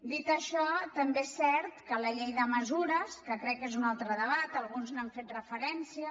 dit això també és cert que la llei de mesures que crec que és un altre debat alguns hi han fet referència